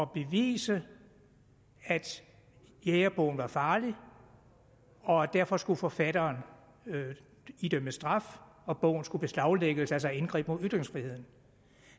bevise at jægerbogen var farlig og derfor skulle forfatteren idømmes straf og bogen skulle beslaglægges altså et indgreb mod ytringsfriheden